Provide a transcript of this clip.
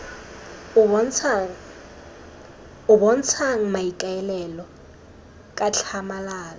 o bontshang maikaelelo ka tlhamalalo